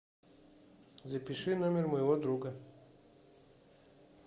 запиши номер моего друга